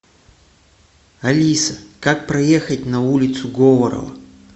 алиса как проехать на улицу говорова